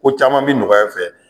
Ko caman bi nɔgɔya fɛ